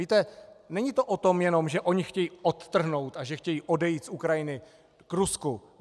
Víte, není to jenom o tom, že oni chtějí odtrhnout a že chtějí odejít z Ukrajiny k Rusku.